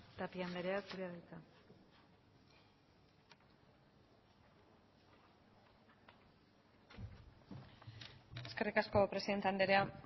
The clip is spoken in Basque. tapia andrea zurea da hitza eskerrik asko presidente andrea